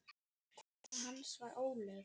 Kona hans var Ólöf